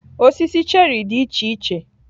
Osisi cherrị dị iche iche